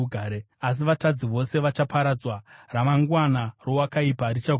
Asi vatadzi vose vachaparadzwa; ramangwana rowakaipa richagurwa.